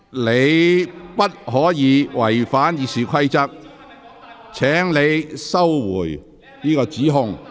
你不可違反《議事規則》，請收回這項指控。